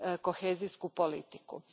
kohezijsku politiku.